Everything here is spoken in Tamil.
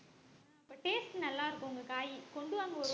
அப்ப taste நல்லா இருக்கும் உங்க காய் கொண்டு வாங்க ஒரு